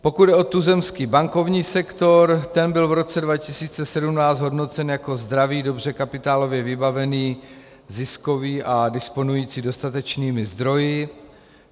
Pokud jde o tuzemský bankovní sektor, ten byl v roce 2017 hodnocen jako zdravý, dobře kapitálově vybavený, ziskový a disponující dostatečnými zdroji.